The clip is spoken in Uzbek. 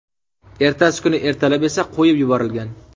Ertasi kuni ertalab esa qo‘yib yuborilgan.